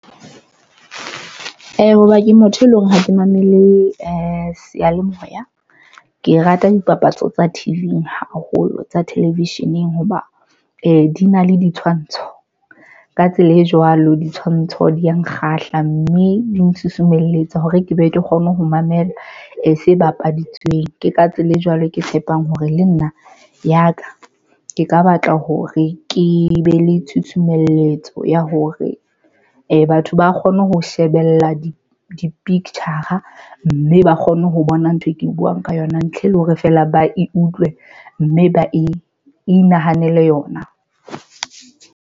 Hoba ke motho e leng hore ha ke mamele seyalemoya. Ke rata dipapatso tsa T_V-ng haholo tsa television-eng hoba e di na le ditshwantsho. Ka tsela e jwalo, ditshwantsho di ya nkgahla mme di nsusumeletsa hore ke be ke kgone ho mamela e se bapaditsweng. Ke ka tsela e jwalo ke tshepang hore le nna ya ka ke ka batla hore ke be le tshusumeletso ya hore batho ba kgone ho shebella di picture mme ba kgone ho bona ntho e ke buwang ka yona ntle le hore feela ba e utlwe mme ba inahanele yona.